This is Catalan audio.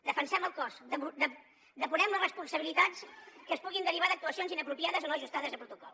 defensem el cos depurem les responsabilitats que es puguin derivar d’actuacions inapropiades o no ajustades a protocol